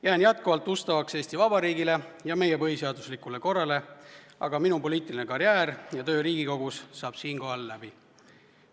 Jään jätkuvalt ustavaks Eesti Vabariigile ja meie põhiseaduslikule korrale, aga minu poliitiline karjäär ja töö Riigikogus saab siinkohal läbi.